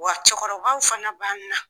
Wa cɛkɔrɔbaw fana b'an na